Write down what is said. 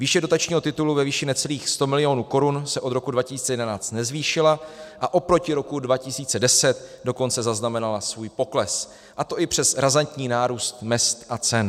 Výše dotačního titulu ve výši necelých 100 milionů korun se od roku 2011 nezvýšila, a oproti roku 2010 dokonce zaznamenala svůj pokles, a to i přes razantní nárůst mezd a cen.